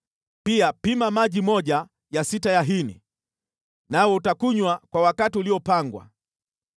Pia pima maji moja ya sita ya hini, nawe utakunywa kwa wakati uliopangwa.